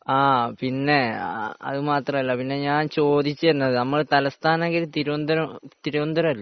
ആഹ് പിന്നെ അതുമാത്രമല്ല ഞാൻ ചോദിച്ചത് നമ്മുടെ തലസ്ഥാന നഗരി തിരുവന്തപുരം അല്ലെ